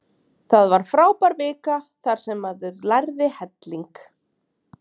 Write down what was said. Það var frábær vika þar sem maður lærði helling.